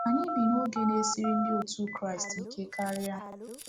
Anyị bi n’oge na-esiri ndị otu Kraịst ike karịa.